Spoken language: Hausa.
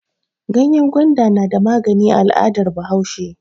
Ganyen gwanda na magani a al'adar Bahaushe.